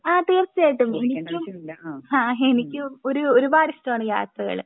ആഹ് തീർച്ചയായിട്ടും എനിക്കും ആഹ് എനിക്കും ഒരു ഒരുപാട് ഇഷ്ടമാണ് യാത്രകൾ